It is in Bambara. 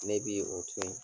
Ne bi o to ye.